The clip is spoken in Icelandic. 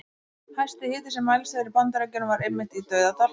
Hæsti hiti sem mælst hefur í Bandaríkjunum var einmitt í Dauðadal.